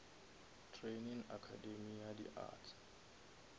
training academay ya di arts